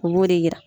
U b'o de yira